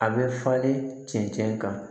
A bɛ falen cɛncɛn kan